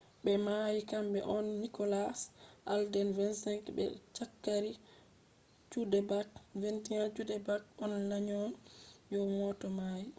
be mayi kambe on nicholas alden 25 be zachary cuddeback 21. cuddeback on la’nyo'yo mota mai